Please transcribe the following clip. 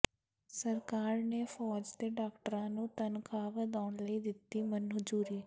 ਸਰਕਾਰ ਨੇ ਫ਼ੌਜ ਦੇ ਡਾਕਟਰਾਂ ਦੀ ਤਨਖ਼ਾਹ ਵਧਾਉਣ ਲਈ ਦਿੱਤੀ ਮਨਜ਼ੂਰੀ